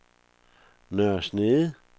Nørre Snede